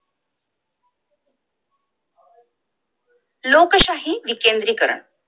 लोकशाही विकेंद्रीकरण